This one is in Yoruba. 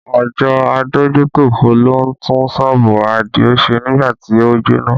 Àjọ adójútòfò ló tún sọ́ọ̀bù Adio ṣe nígbà tí ó jóná